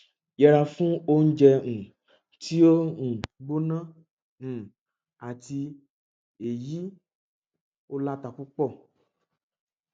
yẹra fún oúnjẹ um ti o um gbóná um àti eyi o lata pupo